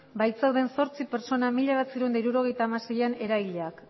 bai zeuden zortzi pertsona mila bederatziehun eta hirurogeita hamaseian erailak